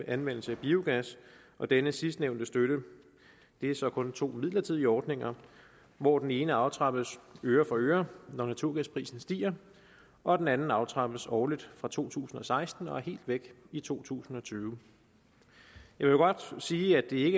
anvendelse af biogas og denne sidstnævnte støtte er så kun i to midlertidige ordninger hvor den ene aftrappes øre for øre når naturgasprisen stiger og den anden aftrappes årligt fra to tusind og seksten og er helt væk i to tusind og tyve jeg vil godt sige at det